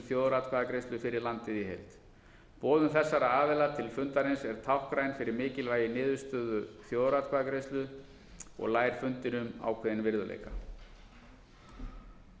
þjóðaratkvæðagreiðslu fyrir landið í heild boðun þessara aðila til fundarins er táknræn fyrir mikilvægi niðurstöðu þjóðaratkvæðagreiðslu og ljær fundinum ákveðinn virðuleika hér